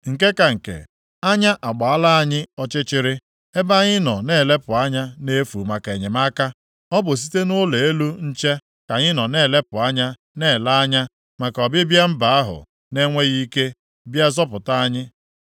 Nke ka nke, anya agbaala anyị ọchịchịrị, ebe anyị nọ na-elepụ anya nʼefu maka enyemaka. Ọ bụ site nʼụlọ elu nche ka anyị nọ na-elepụ anya, na-ele anya maka ọbịbịa mba ahụ na-enweghị ike bịa zọpụta anyị.